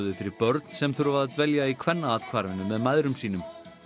fyrir börn sem þurfa að dvelja í Kvennaathvarfinu með mæðrum sínum